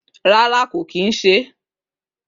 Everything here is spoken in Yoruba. Rárá kò kì ń se é.